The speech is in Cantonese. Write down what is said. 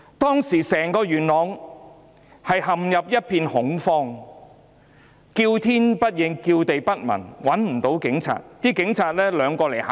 當時整個元朗陷入一片恐慌，叫天不應、叫地不聞，市民找不到警察。